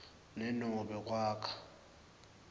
ne nobe kwakha